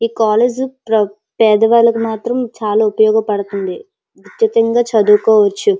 ఈ కాలేజ్ పేదవాళ్ళకి మాత్రం చాలా ఉపయోగపడుతుంది కచ్చితంగా చదువుకోవచ్చు.